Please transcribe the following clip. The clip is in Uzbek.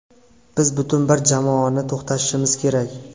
Biz butun bir jamoani to‘xtatishimiz kerak.